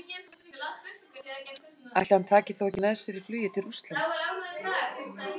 Ætli hann taki þá ekki með sér í flugið til Rússlands?